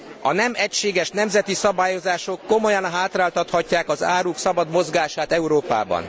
A nem egységes nemzeti szabályozások komolyan hátráltathatják az áruk szabad mozgását Európában.